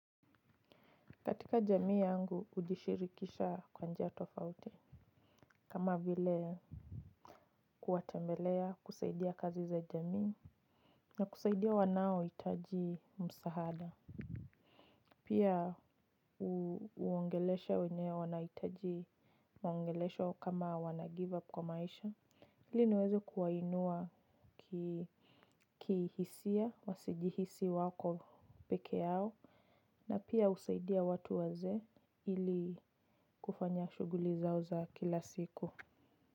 Katika jamii yangu, kujishirikisha kwa njia tofauti kama vile kuwatembelea, kusaidia kazi za jamii na kusaidia wanao hitaji msahada. Pia uongeleshe wenye wanahitaji maongelesho kama wanagive up kwa maisha. Ili niweze kuwainua kihisia wasijihisi wako pekeyao na pia usaidia watu wazee ili kufanya shughuli zao za kila siku.